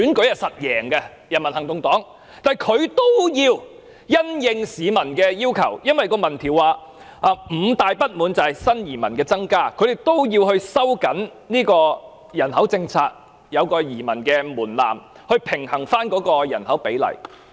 由於民調指出新移民的增加是市民五大不滿之一，所以新加坡政府需要收緊人口政策，設有移民的門檻以平衡人口比例。